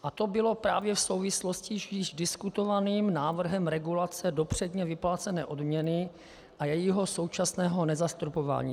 A to bylo právě v souvislosti s již diskutovaným návrhem regulace dopředně vyplácené odměny a jejího současného nezastropování.